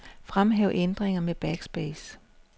Fremhæv ændringer med backspace.